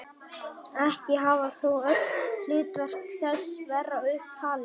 Ekki hafa þó öll hlutverk þess verið upp talin.